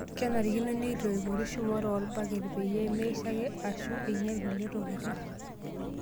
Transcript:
Kenarikino neitoipori shumata orbaket peyie meshaiki eshuu enyial kulie tokiti.